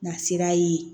Nasira ye